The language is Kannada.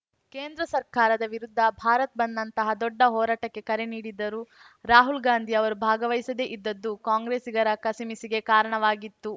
ಕೇಂದ್ರ ಸರ್ಕಾರದ ವಿರುದ್ಧ ಭಾರತ್‌ ಬಂದ್‌ನಂತಹ ದೊಡ್ಡ ಹೋರಾಟಕ್ಕೆ ಕರೆ ನೀಡಿದ್ದರೂ ರಾಹುಲ್‌ ಗಾಂಧಿ ಅವರು ಭಾಗವಹಿಸದೇ ಇದ್ದದ್ದು ಕಾಂಗ್ರೆಸ್ಸಿಗರ ಕಸಿಮಿಸಿಗೆ ಕಾರಣವಾಗಿತ್ತು